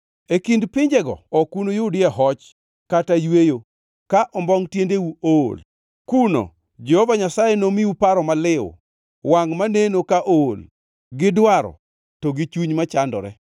E kind pinjego ok unuyudie hoch kata yweyo ka ombongʼ tiendeu ool. Kuno Jehova Nyasaye nomiu paro maliw, wangʼ maneno ka ool gi dwaro to gi chuny machandore.